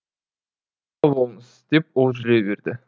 сау болыңыз деп ол жүре берді